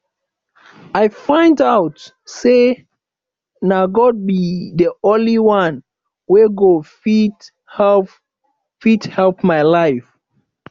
i find out say na god be the only one wey go fit help fit help my life